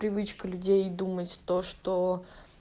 привычка людей думать то что